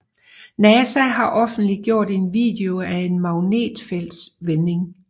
Nasa har offentliggjort en video af en magnetfeltsvending